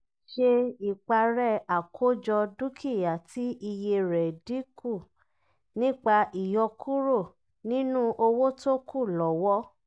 ṣé ìparẹ́ àkójọ dúkìá tí iye rẹ̀ dínkù nípa ìyọkúrò nínú owó tókù lọ́wọ́.